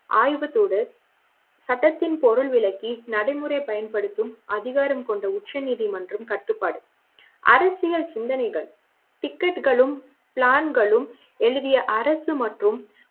ஆய்வத்தோடு சட்டத்தின் பொருள் விளக்கி நடைமுறை பயன்படுத்தும் அதிகாரம் கொண்ட உச்ச நீதிமன்றம் கட்டுப்பாடு அரசியல் சிந்தனைகள்